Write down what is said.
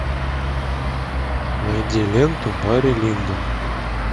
найди ленту барри линдон